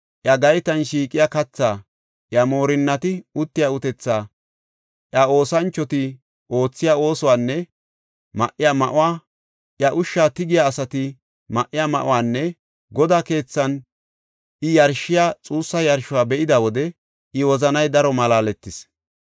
iya gaytan shiiqiya kathaa, iya moorinnati uttiya utethaa, iya oosanchoti oothiya oosuwanne ma7iya ma7uwa, iya ushsha tigiya asati ma7iya ma7uwanne Godaa keethan I yarshiya xuussa yarshuwa be7ida wode I wozanay daro malaaletis.